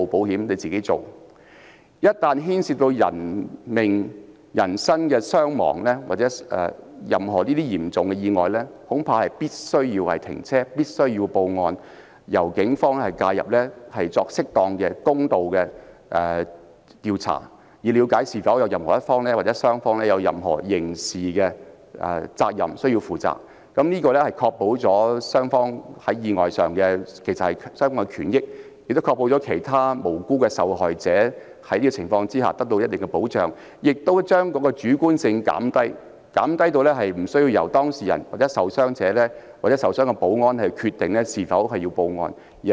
然而，一旦牽涉人命傷亡，發生任何嚴重意外則必須停車報案，由警方介入作適當和公道的調查，以了解是否有其中一方或雙方需要負上任何刑事責任，從而確保雙方在意外中的權益，亦確保其他無辜受害者在這種情況下得到一定的保障，並且減低主觀性，無須由當事人、傷者或受傷的保安員決定是否需要報案。